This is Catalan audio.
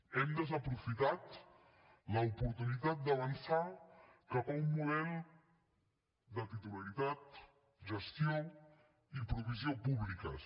hem desaprofitat l’oportunitat d’avançar cap a un model de titularitat gestió i provisió públiques